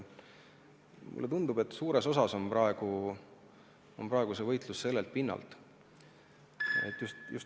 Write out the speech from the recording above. Mulle tundub, et suures osas toimub praegu see võitlus just sellelt pinnalt.